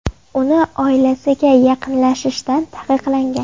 Uni oilasiga yaqinlashishdan taqiqlagan.